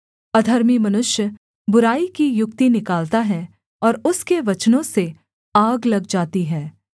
अधर्मी मनुष्य बुराई की युक्ति निकालता है और उसके वचनों से आग लग जाती है